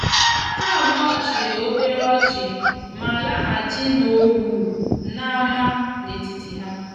ha abuo chiri obere ochima lahachi na owu na-ama na etiti ha.